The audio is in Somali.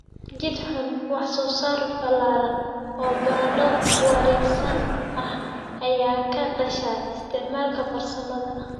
jid xun. Wax-soo-saar ballaaran oo baradho wareegsan ah ayaa ka dhasha isticmaalka farsamada